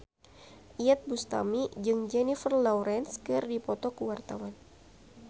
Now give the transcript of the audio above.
Iyeth Bustami jeung Jennifer Lawrence keur dipoto ku wartawan